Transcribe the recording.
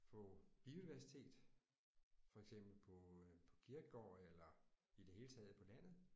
For biodiversitet for eksempel på på kirkegårde eller i det hele taget på landet